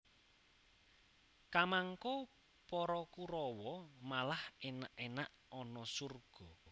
Kamangka para Kurawa malah enak enak ana surga